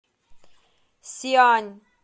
сиань